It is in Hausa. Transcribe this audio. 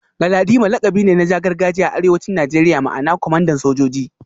Galadima lakabi ne na gargajiya a arewacin Najeriya ma'ana kwamandan sojoji